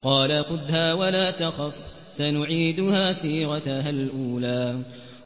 قَالَ خُذْهَا وَلَا تَخَفْ ۖ سَنُعِيدُهَا سِيرَتَهَا الْأُولَىٰ